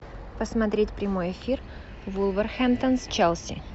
посмотреть прямой эфир вулверхэмптон с челси